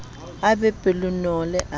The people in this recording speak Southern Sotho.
a be pelonolo a be